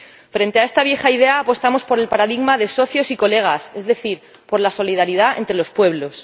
Frente a esta vieja idea apostamos por el paradigma de socios y colegas, es decir, por la solidaridad entre los pueblos.